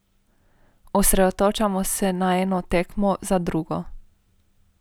Osredotočamo se na eno tekmo za drugo.